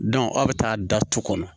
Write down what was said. aw bɛ taa da tu kɔnɔ